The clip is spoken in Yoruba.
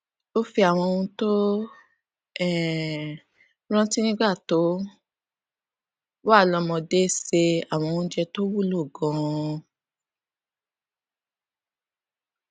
ó fi àwọn ohun tó um rántí nígbà tó wà lómọdé ṣe àwọn oúnjẹ tó wúlò ganan